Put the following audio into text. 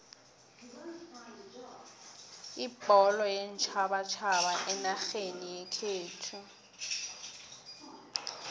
ibholo yeentjhabatjhaba enarheni yekhethu